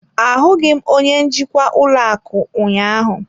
Ahụghị m onye njikwa ụlọ akụ ụnyaahụ.